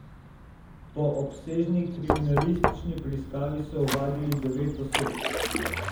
Po obsežni kriminalistični preiskavi so ovadili devet oseb.